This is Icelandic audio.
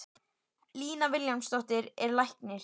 Lína Vilhjálmsdóttir er læknir.